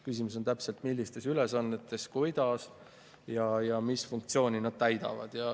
Küsimus on selles, millised on nende ülesanded, kuidas ja mis funktsiooni nad täidavad.